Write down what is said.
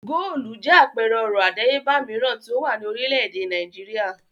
Góólù jẹ́ àpẹẹrẹ ọrọ̀ àdáyébà mìíràn tí ó wà ní orílẹ̀-èdè Nàìjíríà.